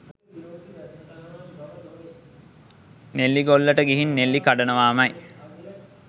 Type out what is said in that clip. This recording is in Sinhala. නෙල්ලිගොල්ලට ගිහින් නෙල්ලි කඩනවාමයි